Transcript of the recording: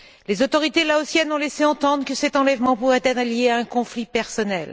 Les autorités laotiennes ont laissé entendre que cet enlèvement pourrait être lié à un conflit personnel.